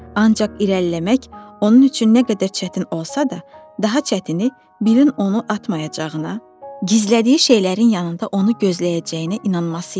Ancaq irəliləmək onun üçün nə qədər çətin olsa da, daha çətini birin onu atmayacağına, gizlətdiyi şeylərin yanında onu gözləyəcəyinə inanması idi.